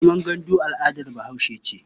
Zaman gandu al'adar Bahaushe ce.